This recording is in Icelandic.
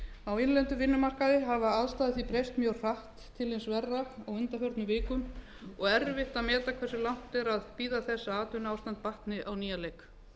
á innlendum vinnumarkaði hafa aðstæður því breyst mjög hratt til hins verra á undanförnum vikum og erfitt að meta hversu langt er að bíða þess að atvinnuástand batni á nýjan leik